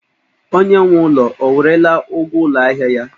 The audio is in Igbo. Onye nwe ụlọ o werela ụgwọ ụlọ ahịa ya?